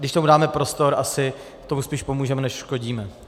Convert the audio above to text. Když tomu dáme prostor, tak tomu spíš pomůžeme než uškodíme.